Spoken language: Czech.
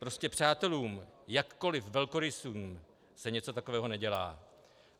Prostě přátelům, jakkoliv velkorysým, se něco takového nedělá.